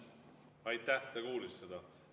Ta kuulis seda.